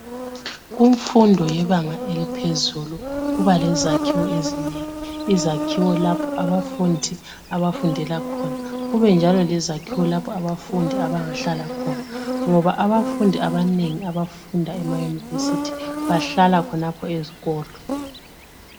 Kumfundo yebanga eliphezulu kuba lezakhiwo ezinengi, izakhiwo lapho abafundi abafundela khona kube njalo lezakhiwo lapho abafundi abangahlala khona ngoba abafundi abanengi abafunda emayunivesiti bahlala khonapho ezikolo.